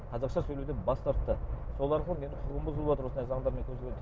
қазақша сөйлеуден бас тартты соларға менің құқығым бұзылыватыр осындай заңдармен көзделген